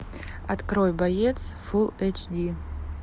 открой боец фул эйч ди